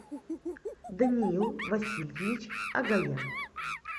даниил васильевич агаян